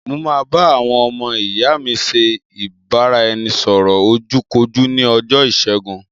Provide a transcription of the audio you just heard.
Mo máa bá àwọn ọmọ ìyá mi ṣe ìbáraẹnisọ̀rọ̀ ojú kojú ní ọjọ́ ìṣẹ́gun